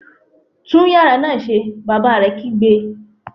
Tún yàrá náà ṣe! Bàbá rẹ̀ kígbe